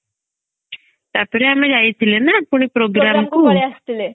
ତାପରେ ଆମେ ଯାଇଥିଲେ ନା ପୁଣି programme କୁ